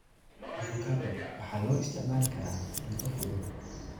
Avocado waxaa loo isticmaali karaa cunto fudud.